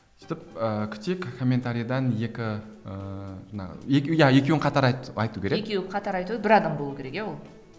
сөйтіп ііі күтейік комментариден екі ііі жаңағы екеу иә екеуін қатар айтуы керек екеуі қатар айту керек бір адам болуы керек иә ол